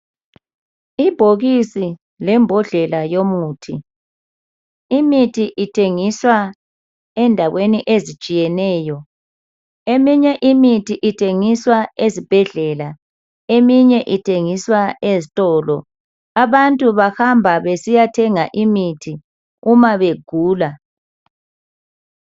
Ibhokisi lembhodlela yomuthi. Imithi ithengiswa endaweni ezitshiyeneyo. Eminye imithi ithengiswa ezibhedlela, eminye ithengiswa ezitolo. Abantu bahamba besiyathenga imithi uma begula.